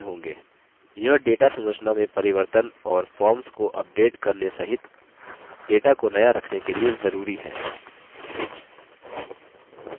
यह data संरचना में परिवर्तन और forms को अपडेट करने सहित data को नया रखने के लिए जरूरी है